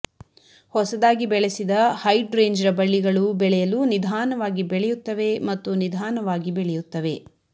ಹೊಸದಾಗಿ ಬೆಳೆಸಿದ ಹೈಡ್ರೇಂಜ ಬಳ್ಳಿಗಳು ಬೆಳೆಯಲು ನಿಧಾನವಾಗಿ ಬೆಳೆಯುತ್ತವೆ ಮತ್ತು ನಿಧಾನವಾಗಿ ಬೆಳೆಯುತ್ತವೆ